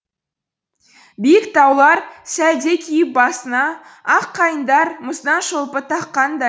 биік таулар сәлде киіп басына ақ қайыңдар мұздан шолпы таққандай